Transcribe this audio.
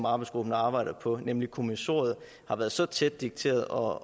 arbejdsgruppens arbejde nemlig kommissoriet har været så tæt dikteret og